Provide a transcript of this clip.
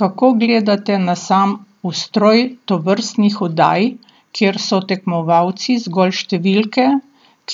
Kako gledate na sam ustroj tovrstnih oddaj, kjer so tekmovalci zgolj številke,